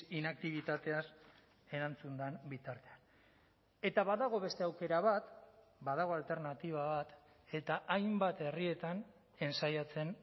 inaktibitateaz erantzun den bitartean eta badago beste aukera bat badago alternatiba bat eta hainbat herrietan entsaiatzen